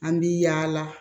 An bi yaala